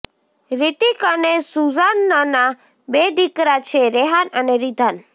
રિતિક અને સુઝાનના બે દિકરા છે રેહાન અને રિધાન